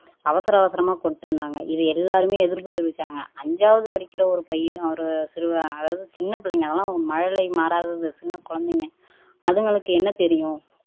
அவசர அவசரமா கொண்டுட்டு வந்தாங்க இது எல்லாருமே எதிர்ப்பு தெரிவிச்சாங்க அஞ்சாவது படிக்கிற ஒரு பையன் ஒரு சிறுவன் அதாவது சின்னப்பிள்ளைங்க அதெல்லாம் மழலை மாறாதது சின்னக் குழந்தைங்க அதுங்களுக்கு என்ன தெரியும்